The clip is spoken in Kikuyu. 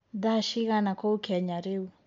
thaa cĩĩgana kũũ Kenya riu